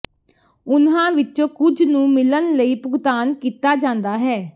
ਉਨ੍ਹਾਂ ਵਿੱਚੋਂ ਕੁਝ ਨੂੰ ਮਿਲਣ ਲਈ ਭੁਗਤਾਨ ਕੀਤਾ ਜਾਂਦਾ ਹੈ